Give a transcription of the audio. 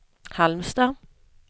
Halmstad